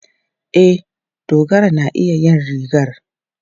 E, Dogara na iya yin rigar.